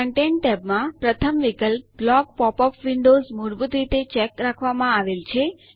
content tab માં પ્રથમ વિકલ્પ બ્લોક pop યુપી વિન્ડોઝ મૂળભૂત રીતે ચેક રાખવામાં આવેલ છે